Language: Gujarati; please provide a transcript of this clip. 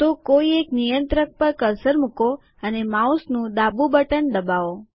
તો કોઈ એક નિયંત્રક પર કર્સર મૂકો અને માઉસનું ડાબું બટન દબાવો